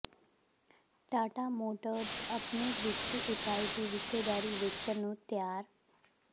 Tata Motors ਅਪਣੀ ਵਿੱਤੀ ਇਕਾਈ ਦੀ ਹਿੱਸੇਦਾਰੀ ਵੇਚਣ ਨੂੰ ਤਿਆਰ